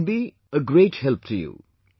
It can be a great help to you